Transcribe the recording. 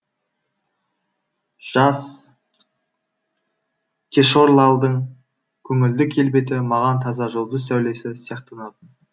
жас кешорлалдың көңілді келбеті маған таза жұлдыз сәулесі сияқтанатын